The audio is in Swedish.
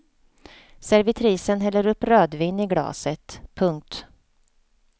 Servitrisen häller upp rödvin i glaset. punkt